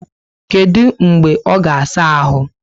Kedu mgbe ọ ga saa áhù?